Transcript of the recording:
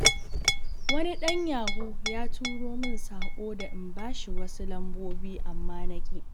Wani ɗan yahu ya turo min saƙo da in bashi wasu lambobi, amma naƙi.